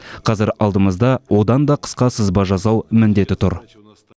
қазір алдымызда одан да қысқа сызба жасау міндеті тұр